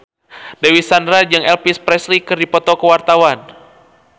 Dewi Sandra jeung Elvis Presley keur dipoto ku wartawan